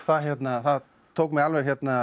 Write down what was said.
það tók mig alveg